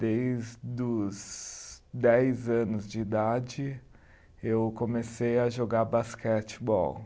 Desde os dez anos de idade, eu comecei a jogar basquetebol.